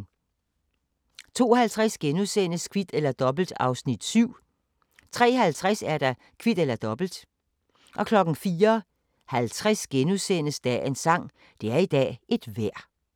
02:50: Kvit eller Dobbelt (Afs. 7)* 03:50: Kvit eller Dobbelt 04:50: Dagens sang: Det er i dag et vejr *